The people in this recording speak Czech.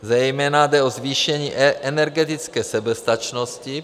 Zejména jde o zvýšení energetické soběstačnosti.